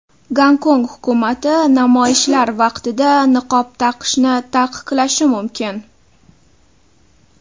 Gonkong hukumati namoyishlar vaqtida niqob taqishni taqiqlashi mumkin.